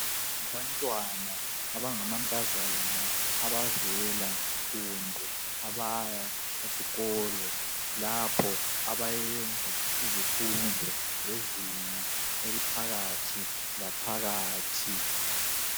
Abantwana. abangamankazana. abavela .kumbe ,abaya. esikolo. lapho abayenza izifundo zezinga .eliphakathi laphakathi.